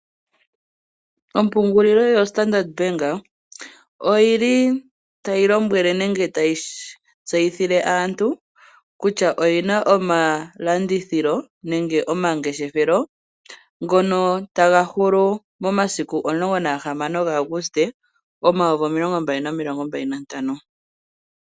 Ompungulilo yostandard bank oyili tai yseyithile aantu kutya oyina omalandithilo/omangeshefelo ngono taga hulu mo16 gAuguste 2025.